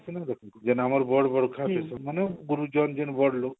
ଯେନ ଆମର ବଡଘର ଥାଏ ମାନେ ଗୁରୁଜନ ମାନେ ଯୋମାନେ ବଡ ଲୋଗ